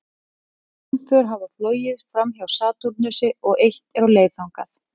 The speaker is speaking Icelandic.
Nokkur geimför hafa flogið framhjá Satúrnusi og eitt er á leið þangað.